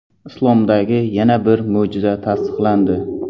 Islomdagi yana bir mo‘jiza tasdiqlandi.